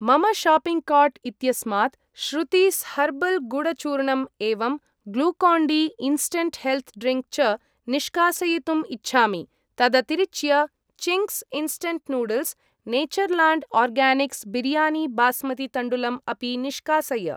मम shopping cart इत्यस्मात् Shruti's herbal गुडचूर्णम् एवं Glucon D instant health drink च निष्कासयितुम् इच्छामि। तदतिरिच्य Ching's instant noodles , Natureland Organics biryani basmati तण्डुलम् अपि निष्कासय।